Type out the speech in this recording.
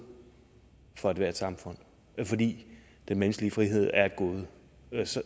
for ethvert samfund fordi den menneskelige frihed er et gode